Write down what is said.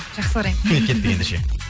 жақсы қараймын кеттік ендеше